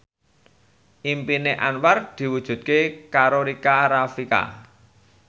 impine Anwar diwujudke karo Rika Rafika